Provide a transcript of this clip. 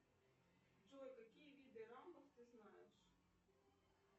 джой какие виды рампов ты знаешь